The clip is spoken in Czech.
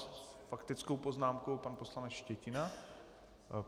S faktickou poznámkou pan poslanec Štětina.